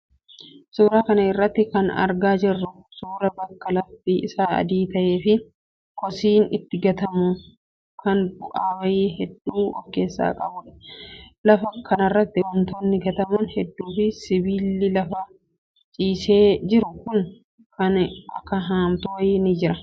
Suuraa kana irraa kan argaa jirru suuraa bakka lafti isaa adii ta'ee fi kosiin itti gatamu kan bu'aa bahii hedduu of keessaa qabudha. Lafa kanarratti wantoonni gataman hedduu fi sibiilli lafa ciisee jiru kan akka haamtuu wayii ni jira.